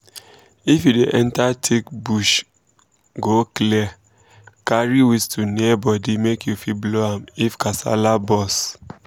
if you dey enter thick bush go clear carry whistle near body make you fit blow am if kasala burst